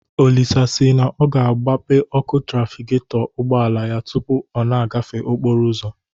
Olisa si na ọ ga-agbape ọkụ trafigetọ ụgbọala ya tụpụ ọ na-agafe okporo ụzọ